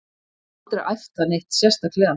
Ég hef aldrei æft það neitt sérstaklega.